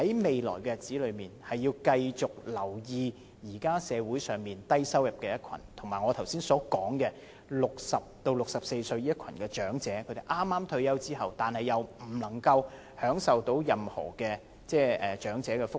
未來的日子，政府要繼續留意社會上低收入人士，以及我剛才提到60歲至64歲的一群長者——他們剛退休，但享受不到任何長者福利。